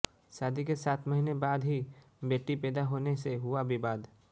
शादी के सात महीने बाद ही बेटी पैदा होने से हुआ विवाद